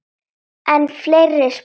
Enn fleiri spor.